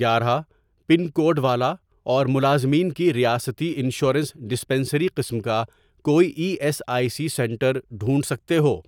گیارہ، pin code والا اور ملازمین کی ریاستی انشورنس ڈسپنسری قسم کا کوئی E S I C centre ڈھونڈ سکتے ہو؟